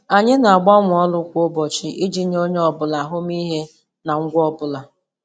Anyị na-agbanwe ọrụ kwa ụbọchị iji nye onye ọ bụla ahụmịhe na ngwa ọ bụla.